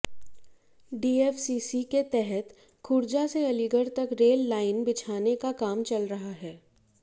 DFCC के तहत खुर्जा से अलीगढ़ तक रेल लाइन बिछाने का काम चल रहा है